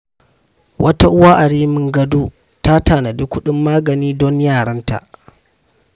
Wata uwa a Rimin Gado ta tanadi kudin magani don yaranta.